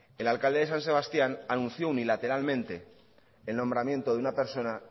el alcalde de san sebastián anunció unilateralmente el nombramiento de una persona